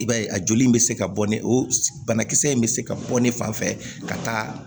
I b'a ye a joli in bɛ se ka bɔ ne o banakisɛ in bɛ se ka bɔ ne fan fɛ ka taa